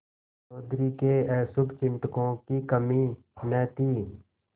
चौधरी के अशुभचिंतकों की कमी न थी